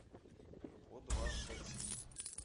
подвашецкий